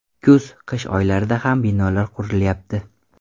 Kuz, qish oylarida ham binolar qurilyapti.